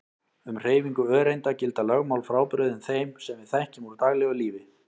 Um hreyfingu öreinda gilda lögmál frábrugðin þeim sem við þekkjum úr daglegu lífi.